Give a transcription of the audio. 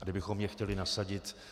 A kdybychom je chtěli nasadit...